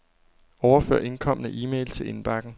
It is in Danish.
Overfør indkomne e-mail til indbakken.